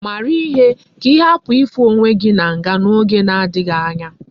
Mara ihe! ka ihapu ihu onwe gi na nga na oge na adighi anya!